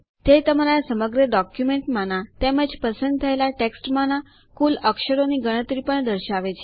તે તમારા સમગ્ર ડોક્યુમેન્ટમાના તેમજ પસંદ થયેલ ટેક્સ્ટમાંના કુલ અક્ષરોની ગણતરી પણ દર્શાવે છે